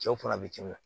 Cɛw fana bɛ tiɲɛ